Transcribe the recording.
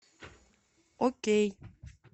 окей